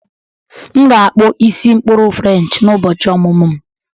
M ga-akpụ isi mkpụrụ french n'ụbọchị ọmụmụ m